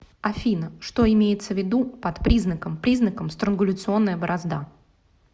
афина что имеется в виду под признаком признаком странгуляционная борозда